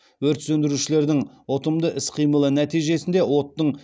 өрт сөндірушілердің ұтымды іс қимылы нәтижесінде оттың